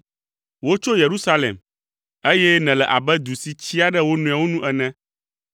Wotso Yerusalem, eye nèle abe du si tsyia ɖe wo nɔewo nu ene.